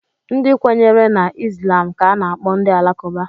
Ndị kwenyere na Islam ka a na-akpọ ndị Alakụba.